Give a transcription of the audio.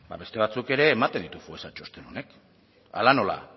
beste batzuk ere ematen ditu foessa txosten honek hala nola